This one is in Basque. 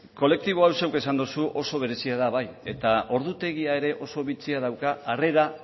kolektibo hau zuk esan duzu oso berezia da bai eta ordutegia ere oso bitxia dauka arrera